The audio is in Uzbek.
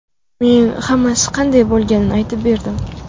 Men hammasi qanday bo‘lganini aytib berdim.